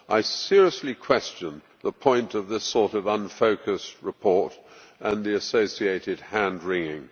I seriously question the point of this sort of unfocused report and the associated hand wringing.